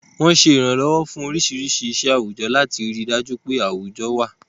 Wọ́n ń ṣe ìrànlọ́wọ́ fún oríṣiríṣi iṣẹ́ àwùjọ, láti rí i dájú pé gbogbo àwùjọ wà.